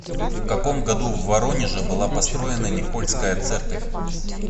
в каком году в воронеже была построена никольская церковь